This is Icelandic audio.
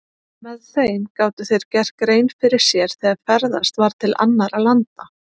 Með þeim gátu þeir gert grein fyrir sér þegar ferðast var til annarra landa.